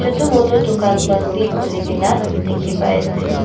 chutu muto dukan khan bi kulikina diki pai asae.